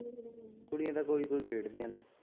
ਕੁੜੀਆਂ ਤਾ ਕੋਈ ਕੋਈ ਖੇਡਦੀਆਂ ਨੇ।